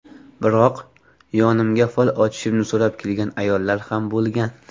Biroq, yonimga fol ochishimni so‘rab kelgan ayollar ham bo‘lgan.